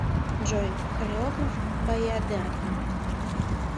джой хореограф баядерка